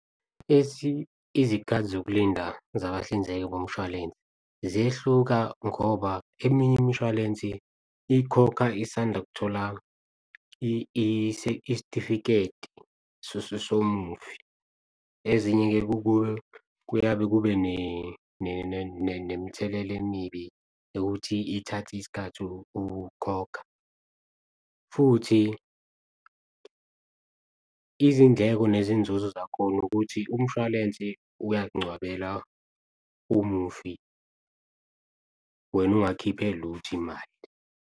Izikhathi zokulinda nabahlinzeki bomshwalense ziyehluka ngoba eminye imishwalensi ikhokha isanda kuthola isitifiketi somufi. Ezinye-ke kuyabe kube nemithelela emibi ukuthi ithathe isikhathi ukukhokha. Futhi izindleko nezinzuzo zakhona ukuthi umshwalense uyakungcwabela umufi, wena ungakhiphe lutho imali.